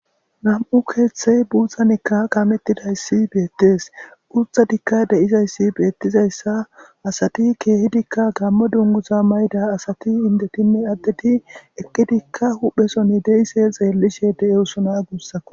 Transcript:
nam7u keeththey buuzzanekka kamettidayssi beettees urtha dikka deizayssi beettizayssa asati keehidikka gammo dunguza mayda asati indetinne addeti eqqidikka hupheson deise xeellishe de7eosona guussako